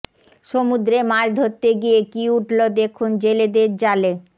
সমুদ্রে মাছ ধরতে গিয়ে কী উঠল দেখুন জেলেদের জালে